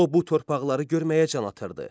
O bu torpaqları görməyə can atırdı.